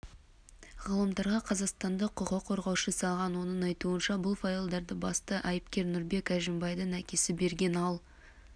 ғаламторға қазақстандық құқық қорғаушы салған оның айтуынша бұл файлдарды басты айыпкер нұрбек әжімбайдың әкесі берген ал